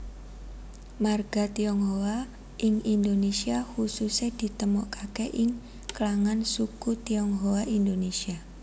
Marga Tionghoa ing Indonesia khususè ditemokake ing klangan suku Tionghoa Indonesia